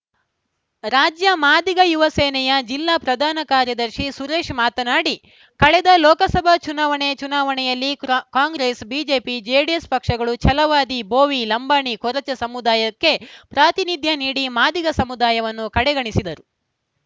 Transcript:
ರಾಜ್ಯ ಮಾದಿಗ ಯುವ ಸೇನೆಯ ಜಿಲ್ಲಾ ಪ್ರಧಾನ ಕಾರ್ಯದರ್ಶಿ ಸುರೇಶ ಮಾತನಾಡಿ ಕಳೆದ ಲೋಕಸಭಾ ಚುನಾವಣೆ ಚುನಾವಣೆಯಲ್ಲಿ ಕ್ರ್ನಾ ಕಾಂಗ್ರೆಸ್‌ ಬಿಜೆಪಿ ಜೆಡಿಎಸ್‌ ಪಕ್ಷಗಳು ಛಲವಾದಿ ಬೋವಿ ಲಂಬಾಣಿ ಕೊರಚ ಸಮುದಾಯಕ್ಕೆ ಪಾತಿನಿಧ್ಯ ನೀಡಿ ಮಾದಿಗ ಸಮುದಾಯವನ್ನು ಕಡೆಗಣಿಸಿದರು